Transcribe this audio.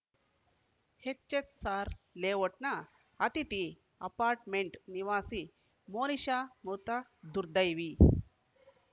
HSR ಲೇಔಟ್‌ನ ಅತಿಥಿ apartment ನಿವಾಸಿ ಮೋನಿಶಾ ಮೃತ ದುರ್ದೈವಿ